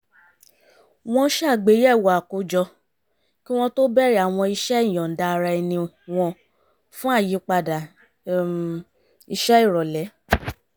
wọ́n ṣàgbéyẹ̀wò àkójọ kí wọ́n tó bẹ̀rẹ̀ àwọn iṣẹ́ ìyọ̀ǹda-ara-ẹni wọn fún àyípadà um iṣẹ́ ìrọ̀lẹ́